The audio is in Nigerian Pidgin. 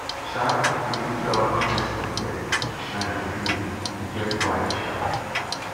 um we dey keep our ancestor dem shrine clean e get why um